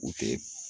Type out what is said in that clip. U tɛ